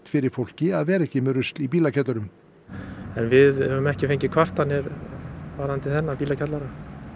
fyrir fólki að vera ekki með drasl í bílakjöllurum en við höfum ekki fengið kvartanir varðandi þennan bílakjallara